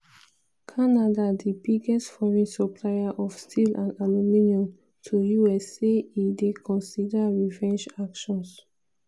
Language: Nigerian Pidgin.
canada di biggest foreign supplier of steel and aluminium to us say e dey consider revenge actions.